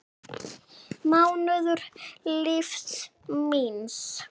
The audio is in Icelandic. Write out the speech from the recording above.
mánuður lífs míns.